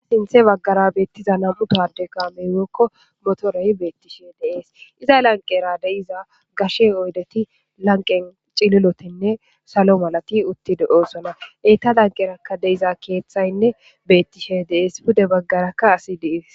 Sinththe baggara beettiza nam'u ka'adde kaamey woykko motorey beettishe de'ees iza lanqera de'iza gashe oyddeti lanqen cillilotanne salo mallati uutti de'osona eetta lanqerakka de'iza keeththaynne bettishe de'ees pudde baggarakka asi de'ees